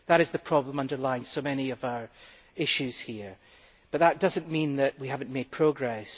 That is the problem underlying so many of our issues here, but that does not mean that we have not made progress.